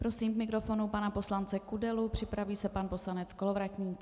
Prosím k mikrofonu pana poslance Kudelu, připraví se pan poslanec Kolovratník.